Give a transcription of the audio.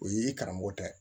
O ye i karamɔgɔ tɛ